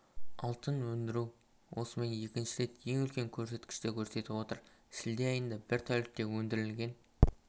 алтын өндіру осымен екінші рет ең үлкен көрсеткішті көрсетіп отыр шілде айына бір тәулікте өндірілген